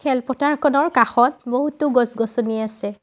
খেলপথাৰখনৰ কাষত বহুতো গছ গছনি আছে।